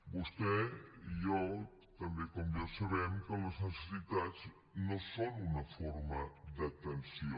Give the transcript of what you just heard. vostè i jo també sabem que les necessitats no són una forma d’atenció